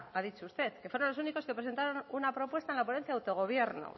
ha dicho usted que fueron los únicos que presentaron una propuesta en la ponencia de autogobierno